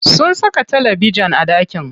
Sun saka talabejin a ɗakin.